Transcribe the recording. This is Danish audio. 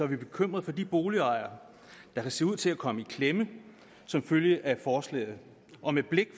vi bekymrede for de boligejere der kan se ud til at komme i klemme som følge af forslaget og med blikket